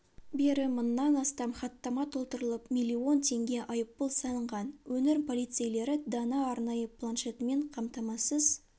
бері мыңнан астам хаттама толтырылып миллион теңге айыппұл салынған өңір полицейлері дана арнайы планшетпен қамтамасыз